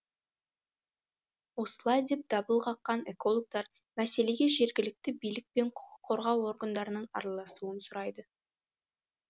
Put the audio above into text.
осылай деп дабыл қаққан экологтар мәселеге жергілікті билік пен құқық қорғау органдарының араласуын сұрайды